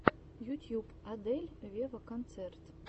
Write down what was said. ютьюб адель вево концерт